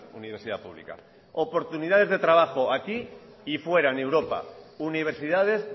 universidad publica oportunidades de trabajo aquí y fuera en europa universidades